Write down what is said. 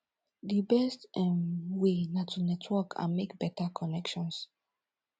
di best um way na to network and make beta connections